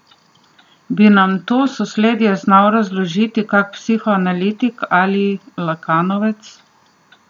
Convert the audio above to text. Bi nam to sosledje znal razložiti kak psihoanalitik ali lakanovec?